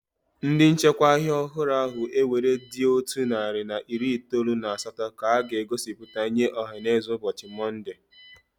Ndị nchekwa ọhịa ọhụrụ ahụ ewere dị otu narị na iri itoolu na asatọ ka a ga-egosipụta nye ọhaneze ụbọchị Monde.